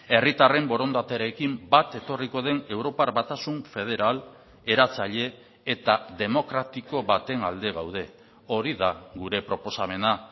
herritarren borondatearekin bat etorriko den europar batasun federal eratzaile eta demokratiko baten alde gaude hori da gure proposamena